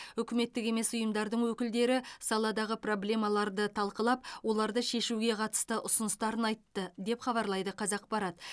үкіметтік емес ұйымдардың өкілдері саладағы проблемаларды талқылап оларды шешуге қатысты ұсыныстарын айтты деп хабарлайды қазақпарат